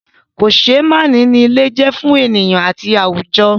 Kòseémánìí ni ilé je fún ènìyàn àti àwùjọ.